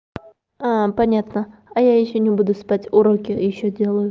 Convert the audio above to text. понятно а я ещё не буду спать уроки ещё делаю